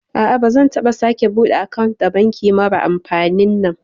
A'a bazan taɓa sake bude akant da banki marar amfanin nan